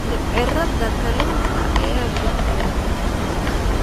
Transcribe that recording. Mindhicirrada kalluunka ayaa bixiya nafaqo.